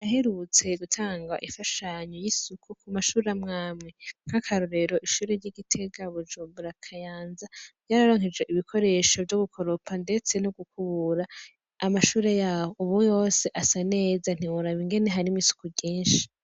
Haraherutse gutangwa ifashanyo y' isuku ku mashure amwe amwe nk' akarorero ishuri ry' iGitega Bujumbura Kayanza ryararonkejwe ibikoresho vyo gukoropa ndetse no gukubura amashure yaho ubu yose asa neza ntiworaba ingene harimwo isuku ryinshi.